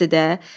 Bəsdir də.